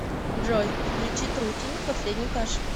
джой включи трутень последний кашель